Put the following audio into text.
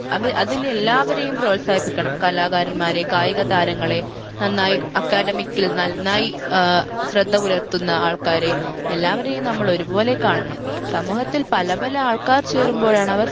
അത് അതിലെല്ലാവരെയും പ്രോത്സാഹിപ്പിക്കണം കലാകാരന്മാരെ കായിക താരങ്ങളെ നന്നായി academic ൽ നന്നായി ഏർ ശ്രദ്ധ പുലർത്തുന്ന ആൾക്കാരെ എല്ലാവരെയും നമ്മൾ ഒരുപോലെ കാണണം സമൂഹത്തിൽ പല പല ആൾക്കാർ ചേരുമ്പോഴാണ് അവർ